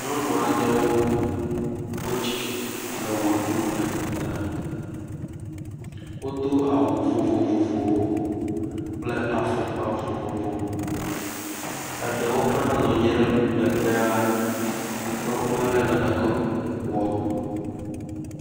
Nyɔnu aɖewo kpɔ dzidzɔ le wɔ ɖum le gota. Wodo awu vovovowo kple afɔkpa vovovo. Eɖewo hã nɔ anyi ɖe megbea gake womele naneke wɔm o.